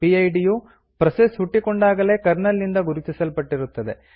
PID ಯು process ಹುಟ್ಟಿಕೊಂಡಾಗಲೇ kernel ನಿಂದ ಗುರುತಿಸಲ್ಪಟ್ಟಿರುತ್ತದೆ